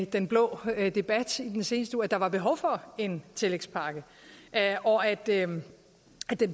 den blå debat i den seneste uge at der var behov for en tillægspakke og at den